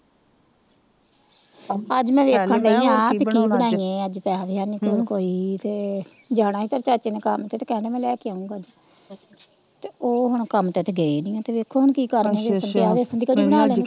ਅੱਜ ਮੈ ਵੇਖਣ ਦੀ ਆ ਕੇ ਕੀ ਬਣਾਈਏ ਅੱਜ ਪੈਸਾ ਵੀ ਹੈਨੀ ਕੋਲ ਕੋਈ ਤੇ ਜਾਣਾ ਹੀ ਤੇਰੇ ਚਾਚੇ ਨੇ ਕੰਮ ਤੇ ਤੇ ਕਹਿਣ ਦੇ ਹੀ ਮੈ ਲੈ ਕੇ ਆਓਗਾ ਅੱਜ ਤੇ ਉਹ ਹੁਣ ਕੰਮ ਤੇ ਤਾ ਗਏ ਨਹੀਂ ਆ ਵੇਖੋ ਹੁਣ ਕੀ ਕਰਦੇ ਵੈਸਾਂ ਪਿਆ ਵੈਸਾਂ ਦੀ ਕੜ੍ਹੀ ਬਣਾ ਲੈਣੇ।